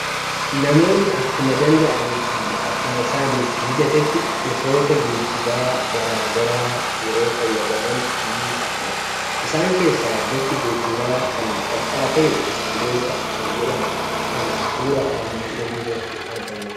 Namoonni akkuma danda'anii fi akkuma isaanif mijatetti gosoota geejjibaa gara garaa yeroo fayyadaman ni argamu. Isaan keessaa gosti geejjibaa kan salphaa ta'e biskileeta kan jedhamu kan suura armaan olii irratti argamu kana.